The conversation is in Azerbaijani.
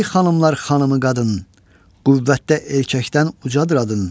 "Ey xanımlar xanımı qadın, qüvvətdə erkəkdən ucadır adın.